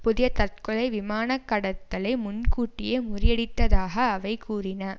புதிய தற்கொலை விமான கடத்தலை முன் கூட்டி முறியடித்ததாக அவை கூறின